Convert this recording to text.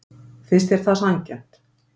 Finnst þér það sanngjarnt?